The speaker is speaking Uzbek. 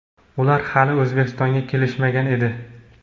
ular hali O‘zbekistonga kelishmagan edi.